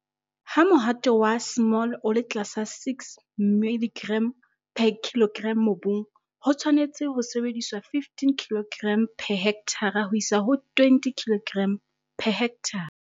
Ha mohato wa S o le tlasa 6 mg per kg mobung, ho tshwanetse ho sebediswa 15 kg per hekthara ho isa ho 20 kg per hekthara.